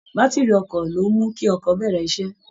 Bátìrì ọkọ̀ ló ń mú kí ọkọ̀ bẹ̀rẹ̀ iṣẹ́